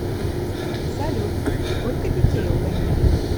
салют сколько детей у ганеева